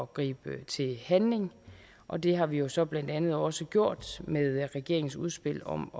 gribe til handling og det har vi jo så blandt andet også gjort med regeringens udspil om